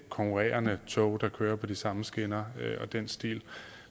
konkurrerende tog der kører på de samme skinner og i den stil